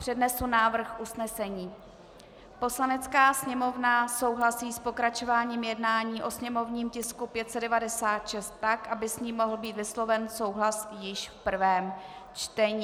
Přednesu návrh usnesení: "Poslanecká sněmovna souhlasí s pokračováním jednání o sněmovním tisku 596 tak, aby s ním mohl být vysloven souhlas již v prvém čtení."